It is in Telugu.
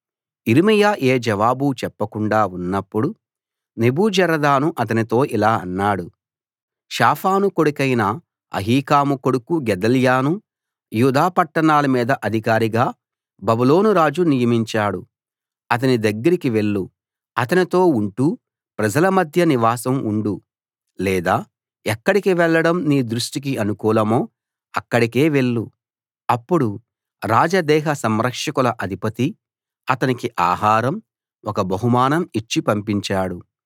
యిర్మీయా ఏ జవాబూ చెప్పకుండా ఉన్నప్పుడు నెబూజరదాను అతనితో ఇలా అన్నాడు షాఫాను కొడుకైన అహీకాము కొడుకు గెదల్యాను యూదా పట్టణాల మీద అధికారిగా బబులోను రాజు నియమించాడు అతని దగ్గరికి వెళ్లు అతనితో ఉంటూ ప్రజల మధ్య నివాసం ఉండు లేదా ఎక్కడికి వెళ్ళడం నీ దృష్టికి అనుకూలమో అక్కడికే వెళ్లు అప్పుడు రాజదేహ సంరక్షకుల అధిపతి అతనికి ఆహారం ఒక బహుమానం ఇచ్చి పంపించాడు